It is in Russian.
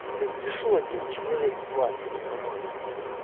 блядь пришёл один человек к власти нормальный